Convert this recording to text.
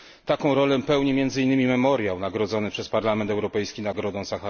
Taką rolę pełni między innymi Memoriał nagrodzony przez Parlament Europejski Nagrodą im.